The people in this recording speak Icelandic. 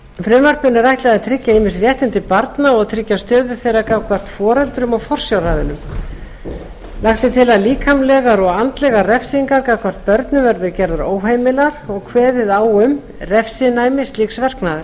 frumvarpinu er ætlað að tryggja ýmis réttindi barna og tryggja stöðu þeirra gagnvart foreldrum og forsjáraðilum lagt er til að líkamlegar og andlegar refsingar gagnvart börnum verði gerðar óheimilar og kveðið á um refsinæmi slíks verknaðar